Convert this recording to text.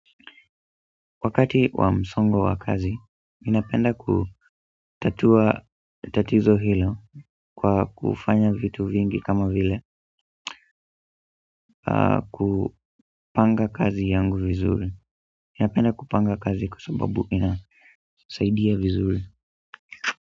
Wakati wa msongo wa kazi, ninapenda kutatua tatizo hilo kwa kufanya vitu vingi kama vile kupanga kazi yangu vizuri. Ninapenda kupanga kazi kwa sababu inasaidia vizuri.